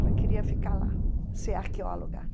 Ela queria ficar lá, ser arqueóloga.